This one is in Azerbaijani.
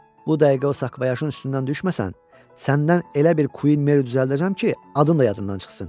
Bu dəqiqə o sakvayaşın üstündən düşməsən, səndən elə bir Queen Mary düzəldəcəm ki, adın da yadından çıxsın.